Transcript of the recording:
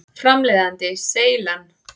Framleiðandi: Seylan.